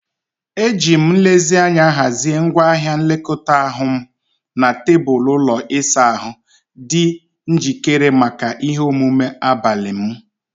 Ejiri m nlezianya hazie ngwaahịa nlekọta anụ ahụ m na tebụl ụlọ ịsa ahụ, dị njikere maka ihe omume abalị m.